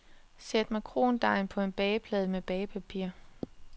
Sæt makrondejen på en bageplade med bagepapir.